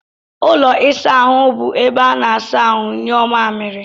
Ụlọ ịsa ahụ bụ ebe ana-asa ahụ, nyuo mmamịrị, wdg.